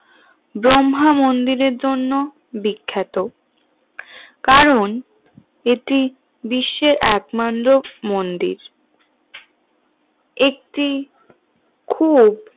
ব্রহ্মা মন্দিরের জন্য বিখ্যাত কারণ এটি বিশ্বের একমাত্র মন্দির একটি খুব